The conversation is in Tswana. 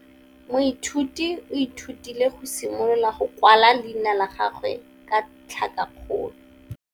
Moithuti o ithutile go simolola go kwala leina la gagwe ka tlhakakgolo.